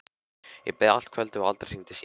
Ég beið allt kvöldið og aldrei hringdi síminn.